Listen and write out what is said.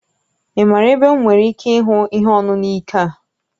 Ị maara ebe m nwere ike ịhụ ihe ọṅụṅụ ike a?